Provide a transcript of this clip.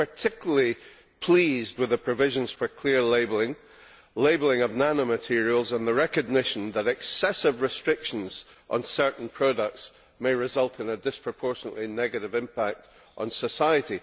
I am particularly pleased with the provisions for clear labelling, labelling of nanomaterials and the recognition that excessive restrictions on certain products may result in a disproportionately negative impact on society.